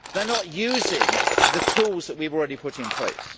They are not using the tools that we have already put in place.